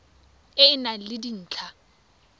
e e nang le dintlha